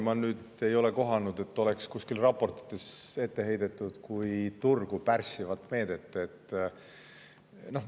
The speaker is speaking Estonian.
Ma ei ole kohanud vist, et kuskil raportites oleks eurotsooni ette heidetud kui turgu pärssivat meedet.